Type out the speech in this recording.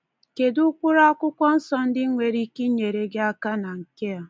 Kedụ ụkpụrụ Akwụkwọ Nsọ ndị nwere ike inyere gị aka na nke a?